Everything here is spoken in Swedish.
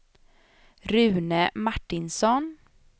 Rune Martinsson